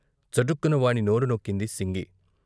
చటుక్కున వాని నోరు నొక్కింది సింగ్.